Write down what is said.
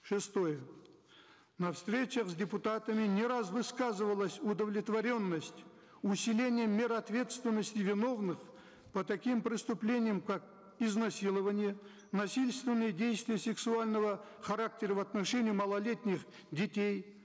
шестое на встречах с депутатами не раз высказывалась удовлетворенность усилением мер ответственности виновных по таким преступлениям как изнасилование насильственные действия сексуального характера в отношении малолетних детей